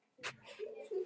Þetta er í fyrsta skipti.